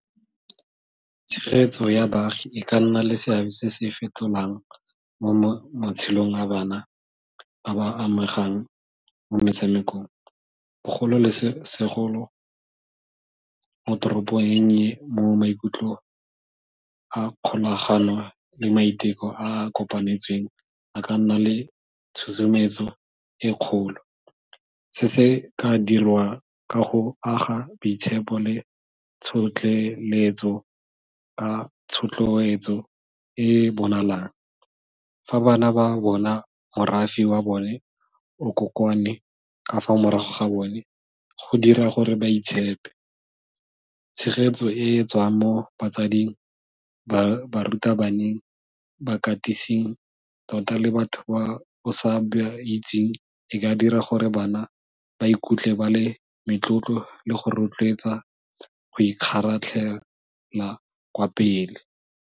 Tshegetso ya baagi e ka nna le seabe se se fetolang mo matshelong a bana ba ba amegang mo metshamekong, bogolosegolo mo toropong e nnye mo maikutlo a kgolagano le maiteko a a kopanetsweng a ka nna le tshosometso e kgolo se se ka dirwa ka go aga boitshepo le bonalang, fa bana ba bona morafe wa bone o kokwane ka fa morago ga bone go dira gore ba itshepe. Tshegetso e e tswang mo batsading, barutabaneng, bakatising, tota le batho ba sa ba itseng e ka dira gore bana ba ikutlwe ba le metlotlo le go rotloetsa go ikgaratlhela kwa pele.